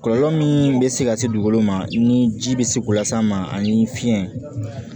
Kɔlɔlɔ min bɛ se ka se dugukolo ma ni ji bɛ se k'u las'an ma ani fiɲɛ